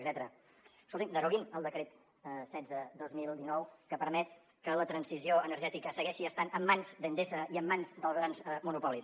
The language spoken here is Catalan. escoltin deroguin el decret setze dos mil dinou que permet que la transició energètica segueixi estant en mans d’endesa i en mans dels grans monopolis